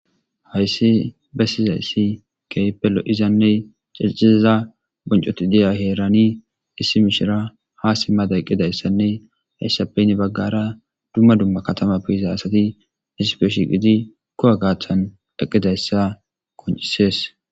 Hayssi bessizayssi keypelo izanne ceciaza boncoti deya heerani issi mishira ha si mada eqqidayssanne hayssappeyn baggara dumma dumma katama piiza asati dissipeshiqidi ko'a gaachan eqqidayssa koncisees.